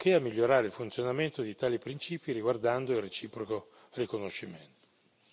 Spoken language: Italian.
nonché di migliorare il funzionamento di tali principi riguardando il reciproco riconoscimento.